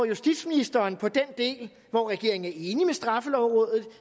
justitsministeren på den del hvor regeringen er enig med straffelovrådet